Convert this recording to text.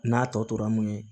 N'a tɔ tora mun ye